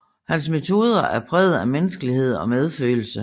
Hans metoder er præget af menneskelighed og medfølelse